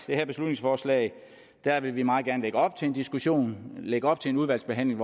her beslutningsforslag vil vi meget gerne lægge op til en diskussion lægge op til en udvalgsbehandling